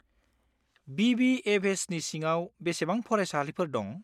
बि.बि.एफ.एस.नि सिङाव बेसेबां फरायसालिफोर दं?